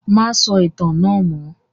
Má sọ ìtàn náà mọ́!